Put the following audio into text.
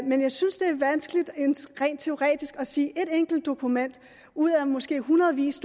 men jeg synes det er vanskeligt rent teoretisk at sige at ét enkelt dokument ud af måske hundredvis